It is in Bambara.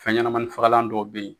Fɛn ɲɛnɛmani fagalan dɔ bɛ yen.